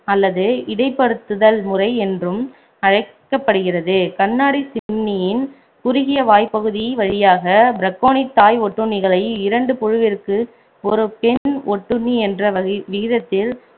அல்லது இடைப்படுத்துதல் முறை என்றும் அழைக்கப்படுகிறது கண்ணாடி சிம்னியின் குறுகிய வாய்ப்பகுதி வழியாக பிரக்கோனிட் தாய் ஒட்டுண்ணிகளை இரண்டு புழுவிற்கு ஒரு பெண் ஒட்டுண்ணி என்ற் வகி~ விகித்தித்தில்